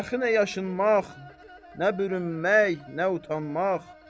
Dəxli nə yaşınmaq, nə bürünmək, nə utanmaq.